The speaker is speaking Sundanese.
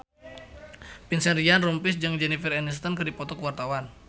Vincent Ryan Rompies jeung Jennifer Aniston keur dipoto ku wartawan